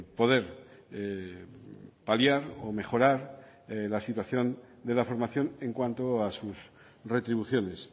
poder paliar o mejorar la situación de la formación en cuanto a sus retribuciones